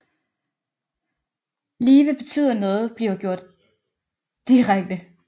Live betyder noget bliver gjort direkte